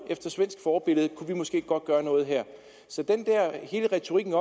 efter svensk forbillede kunne gøre noget her retorikken